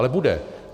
Ale bude.